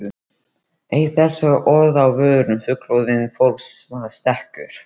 Eitt þessara orða á vörum fullorðna fólksins var stekkur.